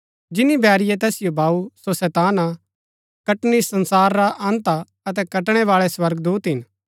जिनी बैरीये तैसिओ वाऊ सो शैतान हा कटनी संसार रा अन्त हा अतै कटणैवाळै स्वर्गदूत हिन